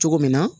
Cogo min na